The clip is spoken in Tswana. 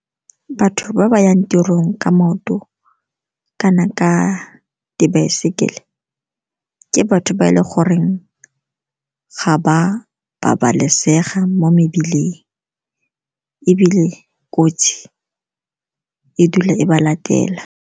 Batho ba ba yang tirong ka maoto kana ka dibaesekele, ke batho ba e leng gore ga ba babalesega mo mebileng ebile kotsi e dula e ba latela.